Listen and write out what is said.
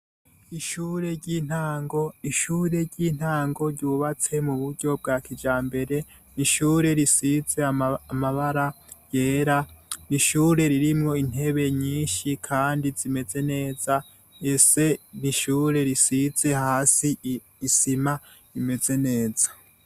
Ishure ry'intango ryubatse mu buryo bwa kiryambere ishure risitse amabara yera .nishure ririmwo intebe nyinshi kandi zimeze neza ese nishure risitse hasi isima imeze neza.